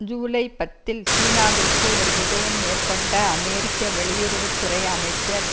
ஜூலை பத்தில் சீனாவிற்கு ஒரு விஜயம் மேற்கொண்ட அமெரிக்க வெளியுறவு துறை அமைச்சர்